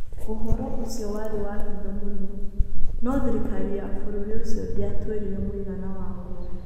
Ũhoro ũcio warĩ wa hitho mũno, no thirikari ya Bũrũri ũcio ndĩatwĩrire mũigana waguo.